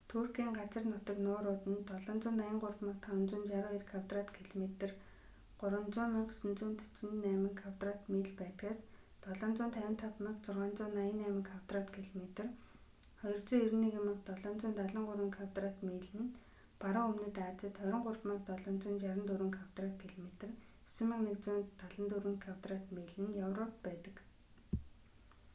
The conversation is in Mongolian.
туркийн газар нутаг нуурууд нь 783,562 квадрат километр 300,948 кв миль байдгаас 755,688 квадрат километр 291,773 кв миль нь баруун өмнөд азид 23,764 квадрат километр 9,174 кв миль нь европт байдаг